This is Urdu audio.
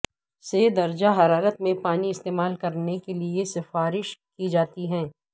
سے درجہ حرارت میں پانی استعمال کرنے کے لئے سفارش کی جاتی ہے